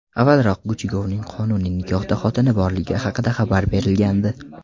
Avvalroq Guchigovning qonuniy nikohda xotini borligi haqida xabar berilgandi.